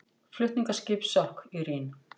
Flutningaskip sökk í Rín